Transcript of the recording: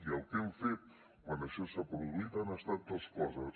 i el que hem fet quan això s’ha produït han estat dues coses